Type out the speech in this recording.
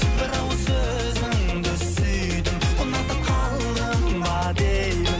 бір ауыз сөзіңді сүйдім ұнатып қалдым ба деймін